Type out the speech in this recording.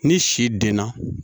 Ni si denna